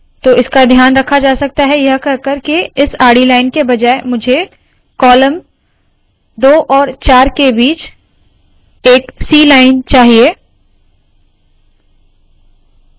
तो इसका ध्यान रखा जा सकता है यह कहकर के इस आडी लाइन के बजाय मुझे कॉलम 2 और 4 के बीच एक c लाइन चाहिए